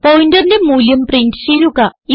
പോയിന്ററിന്റെ മൂല്യം പ്രിന്റ് ചെയ്യുക